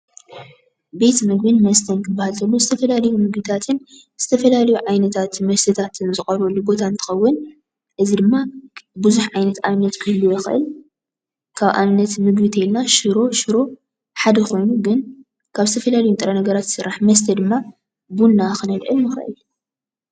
ቤት ምግብን መስተን ክበሃል እንተሎ ዝተፈላለዩ ምግብታትን ዝተፈላለዩ ዓይነታት መስተታትን ዝቀርበሉ ቦታ እትከውን እዚ ድማ ብዙሓት ዓይነት ኣብነት ክህልዎ ይክእል ። ካብ ኣብነት ምግቢ ድማ ሽሮ ሽሮ ሓደ ኮይኑ ነገራት ካብ ዝተፈላለዩ ንጥረ-ነገራት ዝስራሕ መስተ ድማ ቡና ክነልዕል ንክእል።